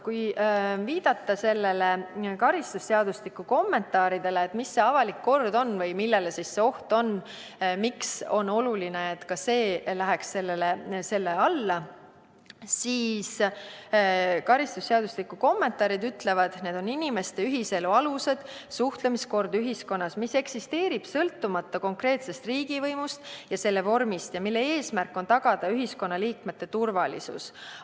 Kui viidata karistusseadustiku kommentaaridele, et mis see avalik kord on või miks on oluline, et ka see läheks selle alla, siis karistusseadustiku kommentaarid ütlevad nii, et tegemist on inimeste ühiselu alustega, suhtlemiskorraga ühiskonnas, mis eksisteerib sõltumata konkreetsest riigivõimust ja selle vormist ning mille eesmärk on tagada ühiskonnaliikmete turvalisus.